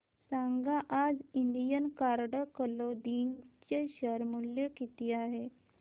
सांगा आज Indian card clothing चे शेअर मूल्य किती आहे